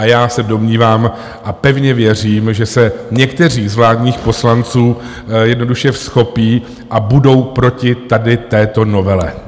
A já se domnívám a pevně věřím, že se někteří z vládních poslanců jednoduše vzchopí a budou proti tady této novele.